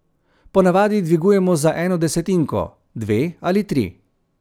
Ponavadi dvigujemo za eno desetinko, dve ali tri.